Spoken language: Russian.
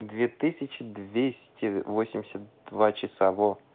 две тысячи двести восемьдесят два часа во